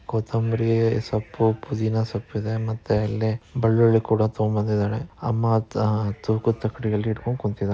ಕೊತಂಬರಿ ಸೊಪ್ಪು ಪುದಿನ ಸೊಪ್ಪಿದೆ ಮತ್ತೆ ಇಲ್ಲಿ ಬೆಳ್ಳುಳಿ ಕೂಡ ತಗೊಂಡಬಂದಿದ್ದಾನೆ ಅಮ್ಮ ಅತ್ತಾ ತುಕುದ್‌ ತಕ್ಕಡಿ ಹಿಡ್ಕೊಂಡ್‌ ಕುಂತ್ತಿದ